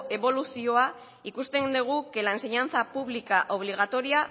eboluzioa ikusten dugu que la enseñanza pública obligatoria